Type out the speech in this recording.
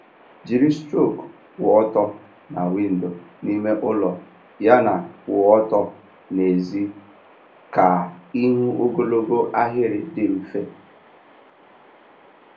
Jiri strok kwụ ọtọ na windo n'ime ụlọ yana kwụ ọtọ n'èzí ka ịhụ ogologo ahịrị dị mfe.